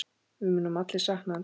Við munum allir sakna hans.